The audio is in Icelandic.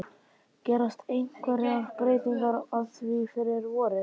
Gerast einhverjar breytingar á því fyrir vorið?